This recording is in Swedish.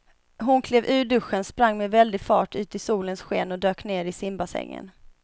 Hon klev ur duschen, sprang med väldig fart ut i solens sken och dök ner i simbassängen.